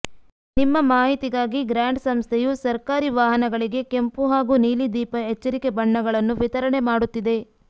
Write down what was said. ನಿಮ್ಮ ಮಾಹಿತಿಗಾಗಿ ಗ್ರಾಂಡ್ ಸಂಸ್ಥೆಯು ಸರ್ಕಾರಿ ವಾಹನಗಳಿಗೆ ಕೆಂಪು ಹಾಗೂ ನೀಲಿ ದೀಪ ಎಚ್ಚರಿಕೆ ಬಣ್ಣಗಳನ್ನು ವಿತರಣೆ ಮಾಡುತ್ತಿದೆ